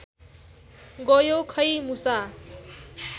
गयो खै मुसा